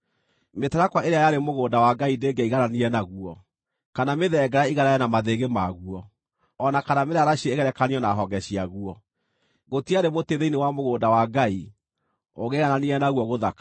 Mĩtarakwa ĩrĩa yarĩ mũgũnda wa Ngai ndĩngĩaigananire naguo, kana mĩthengera ĩiganane na mathĩgĩ maguo, o na kana mĩraraciĩ ĩgerekanio na honge ciaguo, gũtiarĩ mũtĩ thĩinĩ wa mũgũnda wa Ngai ũngĩaigananire naguo gũthakara.